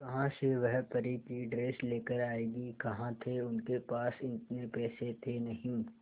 कहां से वह परी की ड्रेस लेकर आएगी कहां थे उनके पास इतने पैसे थे नही